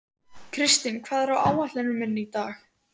Kirsten, hvað er á áætluninni minni í dag?